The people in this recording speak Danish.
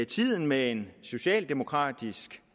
tiden med en socialdemokratisk